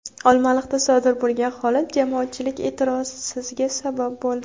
Olmaliqda sodir bo‘lgan holat jamoatchilik e’tirosizga sabab bo‘ldi.